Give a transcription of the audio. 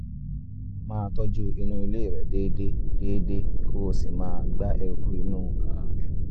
máa tọ́jú inú ilé rẹ déédéé déédéé kó o sì máa gbá eruku inú um rẹ̀